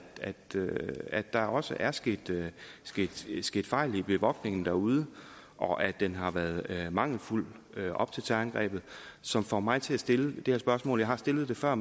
at der også er sket sket fejl i bevogtningen derude og at den har været mangelfuld op til terrorangrebet som får mig til at stille det her spørgsmål jeg har stillet det før